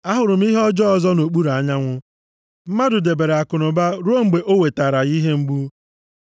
Ahụrụ m ihe ọjọọ ọzọ nʼokpuru anyanwụ, mmadụ debere akụnụba ruo mgbe o wetara ya ihe mgbu,